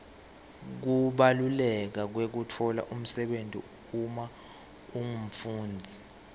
kubaluleka kwekutfola umsebenti uma ungumfundzi